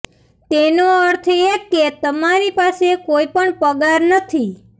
તેનો અર્થ એ કે તમારી પાસે કોઈ પણ પગાર નથી